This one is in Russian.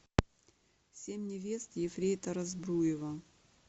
семь невест ефрейтора збруева